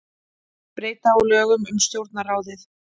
Breyta á lögum um Stjórnarráðið